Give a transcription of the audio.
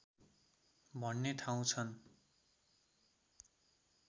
भन्ने ठाउँ छन्